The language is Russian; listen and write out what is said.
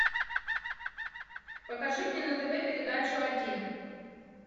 покажи мне на тв передачу один